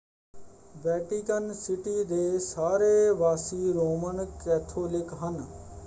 Vatican City ਦੇ ਸਾਰੇ ਵਾਸੀ ਰੋਮਨ ਕੈਥੋਲਿਕ ਹਨ।